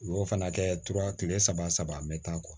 U y'o fana kɛ tuma kelen saba saba me taa